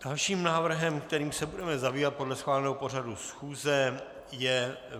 Dalším návrhem, kterým se budeme zabývat podle schváleného pořadu schůze, je